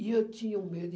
E eu tinha um medo.